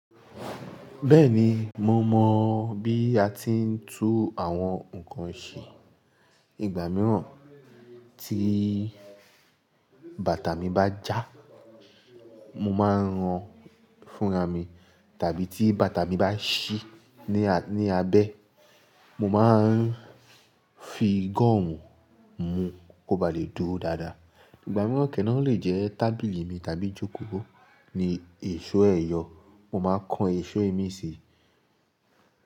Bẹ́ẹ̀ni, mo mọ bí a ti ń tú àwọn nǹkan ṣe. Ìgbà mìíràn tí bàtà mi bá já, mo máa ń ran fúnra mi, tàbí tí bàtà mi bá ṣí ní abẹ́, mo máa ń fi gọ́ọ̀mù mú kó bá lè dúró dáadáa. Ìgbà mìíràn kẹ́ẹ̀ná lè jẹ́ tábìlì mi tàbí jòkòó ní èso ẹ̀yọ̀, mo máa kan èso i mi síi.